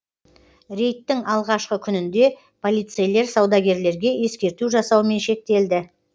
рейдттің алғашқы күнінде полицейлер саудагерлерге ескерту жасаумен шектелді